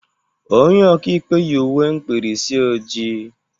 Onye ọka ikpe yị uwe mkpịrịsị ojii.